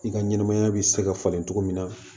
I ka ɲɛnɛmaya bi se ka falen cogo min na